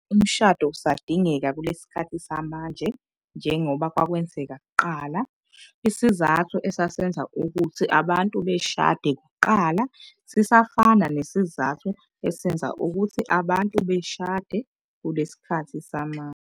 Umshado usadingeka kulesi sikhathi samanje njengoba kwakwenzeka kuqala. Isizathu esasenza ukuthi abantu beshade kuqala, sisafana nesizathu esenza ukuthi abantu beshade kulesi sikhathi samanje.